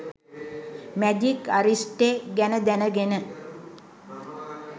“magic අරිෂ්ටෙ” ගැන දැනගෙන